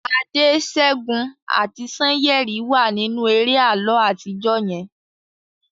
Ade, Segun ati Sanyeri wa ninu eré àlọ atijọ yen